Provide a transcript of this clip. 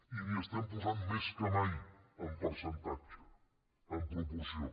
i n’hi estem posant més que mai en percentatge en proporció